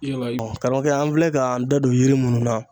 laramɔgɔ kɛ, an filɛ k'an da don yiri minnu na.